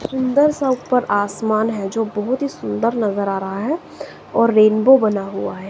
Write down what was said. सुंदर सा ऊपर आसमान है जो बहुत ही सुंदर नजर आ रहा है और रेनबो बना हुआ है।